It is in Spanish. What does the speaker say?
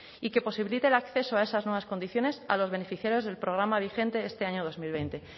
y que posibilite el acceso a esas nuevas condiciones a los beneficios del programa vigente este año dos mil veinte